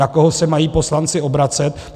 Na koho se mají poslanci obracet?